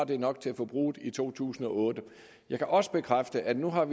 det nok til forbruget i to tusind og otte jeg kan også bekræfte at vi nu har